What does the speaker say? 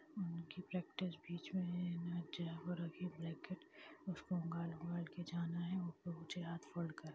उन की प्रैक्टिस बीच में है उसको जाना है।